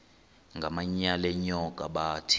ngamanyal enyoka bathi